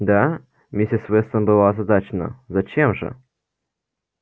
да миссис вестон была озадачена зачем же